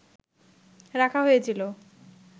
রাখা হয়েছিল